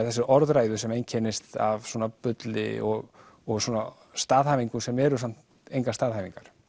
orðræðu sem einkennist af bulli og og svona staðhæfingum sem eru samt engar staðhæfingar